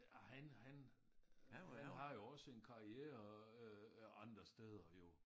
Og han han han har jo også en karriere øh andre steder jo